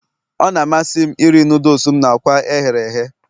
Ọ na-amasị m iri noodles m na akwa ehere ehe